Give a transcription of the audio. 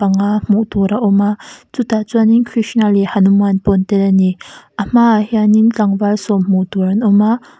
nga hmuh tur a awm a chutah chuanin krishna leh hanuman pawh an tel a ni a hmaah hianin tlangval sawm hmuh tur an awm a--